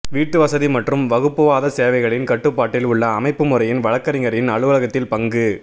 வீட்டுவசதி மற்றும் வகுப்புவாத சேவைகளின் கட்டுப்பாட்டில் உள்ள அமைப்பு முறையின் வழக்கறிஞரின் அலுவலகத்தின் பங்கு